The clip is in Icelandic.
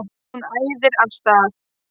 Hún æðir af stað.